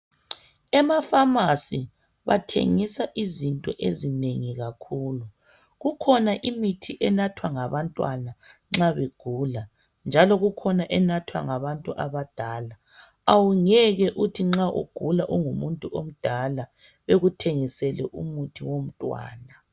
Emafamasi bathengisa izinto ezinengi kakhulu. Kukhona imithi enathwa ngabantwana nxa begula, njalo kukhona enathwa ngabantu abadala. Awungeke uthi ungumuntu odala bekuthengisele umuthi womntwana.